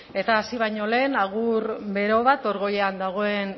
eta hasi baino lehen agur bero bat hor goian dagoen